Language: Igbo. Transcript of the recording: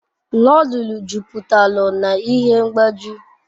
Nodul juputalu n'ihe mgbaju